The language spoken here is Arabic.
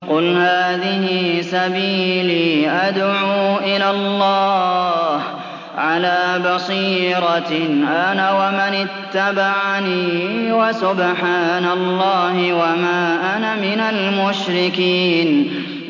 قُلْ هَٰذِهِ سَبِيلِي أَدْعُو إِلَى اللَّهِ ۚ عَلَىٰ بَصِيرَةٍ أَنَا وَمَنِ اتَّبَعَنِي ۖ وَسُبْحَانَ اللَّهِ وَمَا أَنَا مِنَ الْمُشْرِكِينَ